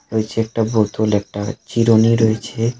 ওই যে একটা বোতল একটা চিরুনি রয়েছে .